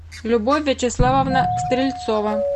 любовь вячеславовна стрельцова